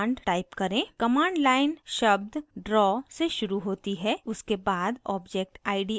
command line शब्द draw से शुरू होती है उसके बाद object id आता है